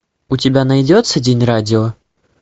у тебя найдется день радио